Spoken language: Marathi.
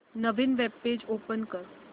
नवीन वेब पेज ओपन कर